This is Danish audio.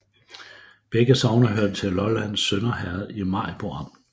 Begge sogne hørte til Lollands Sønder Herred i Maribo Amt